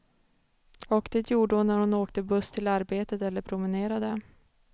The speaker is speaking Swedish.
Och det gjorde hon när hon åkte buss till arbetet eller promenerade.